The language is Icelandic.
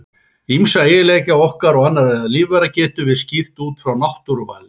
Ýmsa eiginleika okkar og annarra lífvera getum við skýrt út frá náttúruvali.